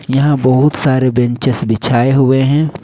यहां बहुत सारे बेंचेस बिछाए हुए है।